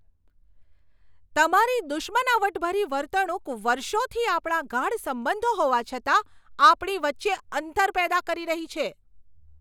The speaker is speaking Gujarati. તમારી દુશ્મનાવટભરી વર્તણૂક વર્ષોથી આપણા ગાઢ સંબંધો હોવા છતાં, આપણી વચ્ચે અંતર પેદા કરી રહી છે.